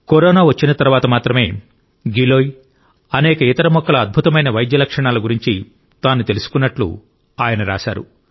corona వచ్చిన తరువాత మాత్రమే గిలోయ్ అనేక ఇతర మొక్కల అద్భుతమైన వైద్య లక్షణాల గురించి తాను తెలుసుకున్నట్టు ఆయన రాశారు